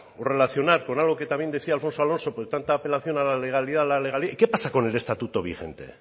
o relacionar con algo que también decía alfonso alonso con tanta apelación a la legalidad la legalidad y qué pasa con el estatuto vigente